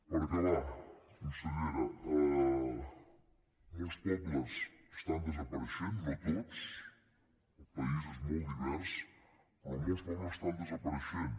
per acabar consellera molts pobles estan desapareixent no tots el país és molt divers però molts pobles estan desapareixent